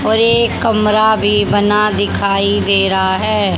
और एक कमरा भी बना दिखाई दे रहा है।